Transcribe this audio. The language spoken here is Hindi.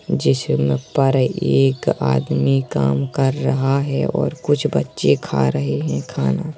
एक आदमी काम कर रहा है और कुछ बच्चे खा रहे हैं खाना।